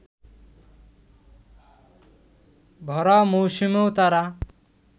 ভরা মৌসুমেও তারা